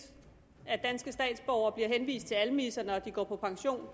at danske statsborgere bliver henvist til almisser når de går på pension